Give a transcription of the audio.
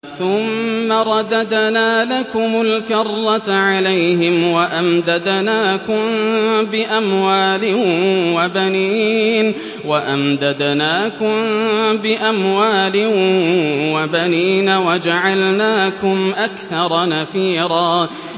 ثُمَّ رَدَدْنَا لَكُمُ الْكَرَّةَ عَلَيْهِمْ وَأَمْدَدْنَاكُم بِأَمْوَالٍ وَبَنِينَ وَجَعَلْنَاكُمْ أَكْثَرَ نَفِيرًا